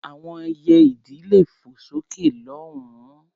Àwọn ẹyẹ-idì lè fò lọ sókè lọ́hùn-ún.